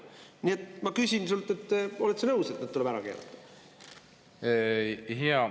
Nii et ma küsin sult: oled sa nõus, et need tuleb ära keelata?